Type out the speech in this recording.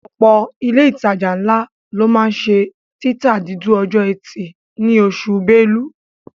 Ọ̀pọ̀ ilé ìtajà ńlá ló máa ń ṣe títa dúdú ọjọ́ ẹtì ní oṣù Belú